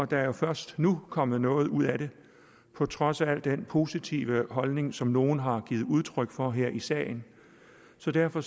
der først nu kommet noget ud af det på trods af den positive holdning som nogle har givet udtryk for her i salen så derfor